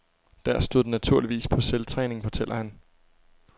Der stod den naturligvis på selvtræning, fortæller han.